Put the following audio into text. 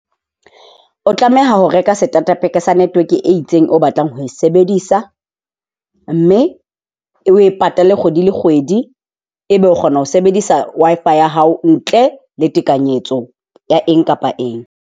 O tlameha ho reka starter pack sa network e itseng o batlang ho e sebedisa. Mme o e patale kgwedi le kgwedi, e be o kgona ho sebedisa Wi-Fi ya hao ntle le tekanyetso ya eng kapa eng.